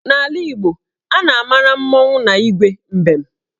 N'ala Igbo, a na-amara mmọnwụ na Igwe mbem